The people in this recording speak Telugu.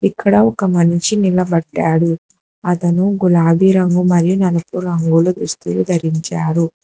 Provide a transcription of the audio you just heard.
అక్కడ ఒక మనిషి నిలబడ్డాడు అతను గులాబి రంగు మరియు నలుపు రంగులు దుస్తులు ధరించాడు.